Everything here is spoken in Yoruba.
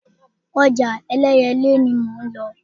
Ọjà Ẹlẹ́yẹlé ni mò ń lọ.